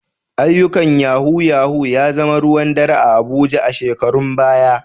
Ayyukan Yahoo yahoo ya zama ruwan dare a Abuja a shekarun baya.